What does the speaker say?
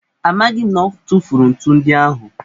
Amaghị m na ọ tụfuru ntu ndị ahụ.